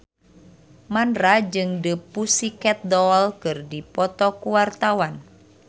Mandra jeung The Pussycat Dolls keur dipoto ku wartawan